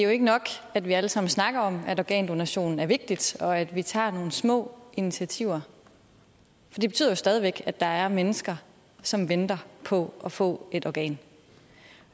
det er ikke nok at vi alle sammen snakker om at organdonation er vigtigt og at vi tager nogle små initiativer for det betyder jo stadig væk at der er mennesker som venter på at få et organ